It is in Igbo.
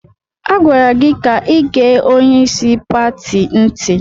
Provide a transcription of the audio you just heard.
A gwara gị ka igee onyeisi pati ntị!